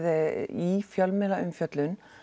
í fjölmiðlaumfjöllun